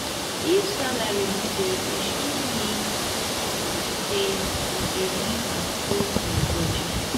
if salary no dey reach e mean say you dey live above your budget.